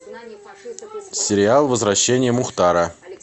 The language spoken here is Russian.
сериал возвращение мухтара